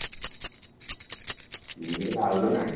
ହୁଁ ମୁଁ କହିଲି ଭାଉଜ ନାଇଁ